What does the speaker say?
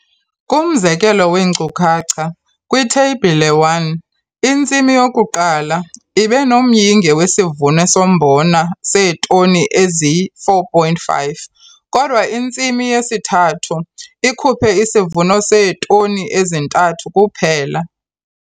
Kumzekelo weenkcukacha kwiTheyibhile 1, iNtsimi yoku-1 ibe nomyinge wesivuno sombona seetoni eziyi-4,5, kodwa iNtsimi yesi-3 ikhuphe isivuno seetoni ezi-3 kuphela.